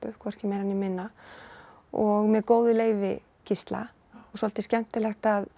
hvorki meira né minna og með góðu leyfi Gísla svolítið skemmtilegt að